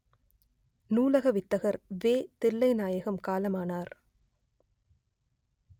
நூலக வித்தகர் வே தில்லைநாயகம் காலமானார்